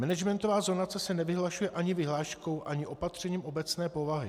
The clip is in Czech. Managementová zonace se nevyhlašuje ani vyhláškou ani opatřením obecné povahy.